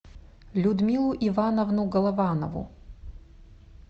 людмилу ивановну голованову